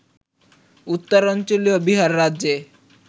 উত্তরাঞ্চলীয় বিহার রাজ্যে